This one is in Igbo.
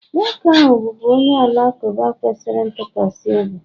nwoke ahụ bụbu onye Alakụba kwesịrị ntụkwasị obi